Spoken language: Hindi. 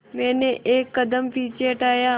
मैंने एक कदम पीछे हटाया